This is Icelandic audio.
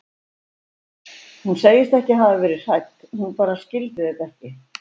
Hún segist ekki hafa verið hrædd, hún bara skildi þetta ekki.